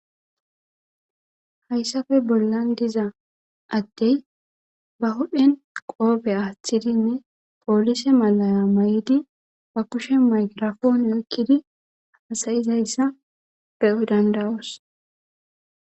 Hayssafe bollan diza addey ba hudhen qoobe aaththidinne poolise malaya may'idi ba kushe maygrafoone okkidi hasayizayssa be dandawoos